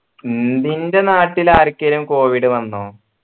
നിന്റെ നാട്ടിൽ ആർക്കേലും covid വന്നോ